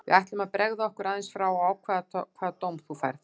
Við ætlum að bregða okkur aðeins frá og ákveða hvaða dóm þú færð.